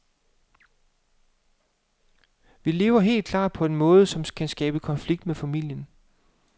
Vi lever helt klart på en måde, som kan skabe konflikter med familien.